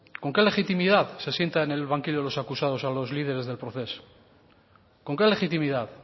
con qué legitimidad se sienta en el banquillo de los acusados a los líderes del procés con qué legitimidad